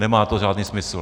Nemá to žádný smysl.